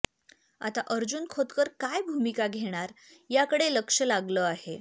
आता अर्जुन खोतकर काय भूमिका घेणार याकडे लक्ष लागलं आहे